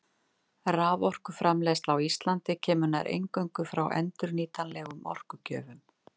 Raforkuframleiðsla á Íslandi kemur nær eingöngu frá endurnýjanlegum orkugjöfum.